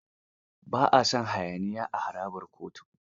Ba a son hayaniya a harabar kotu.